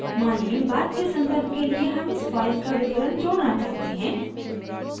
मानिए बाद के सन्दर्भ के लिए हम इस file पर विवरण जोड़ना चाहते हैं